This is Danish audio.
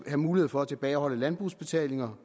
have mulighed for at tilbageholde udbetalinger